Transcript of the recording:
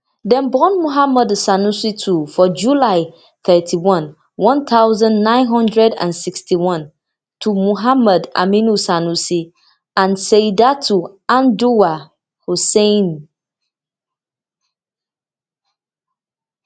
dem born muhammadu sanusi two for july thirty-one one thousand, nine hundred and sixty-one to muhammad aminu sanusi and saudatu anduwa hussain